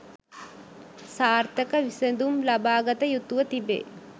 සාර්ථක විසඳුම් ලබා ගත යුතුව තිබේ